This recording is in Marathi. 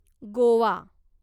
गोवा